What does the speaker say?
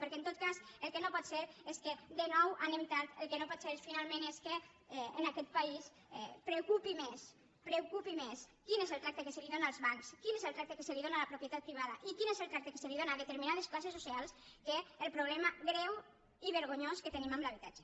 perquè en tot cas el que no pot ser és que de nou anem tard el que no pot ser finalment és que en aquest país preocupi més preocupi més quin és el tracte que es dóna als bancs quin és el tracte que es dóna a la propietat privada i quin és el tracte que es dó na a determinades classes socials que el problema greu i vergonyós que tenim amb l’habitatge